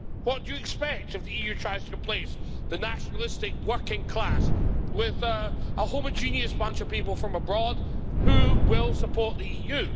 What do you expect if the EU tries to replace the nationalistic working class with a homogeneous bunch of people from abroad who will support the EU?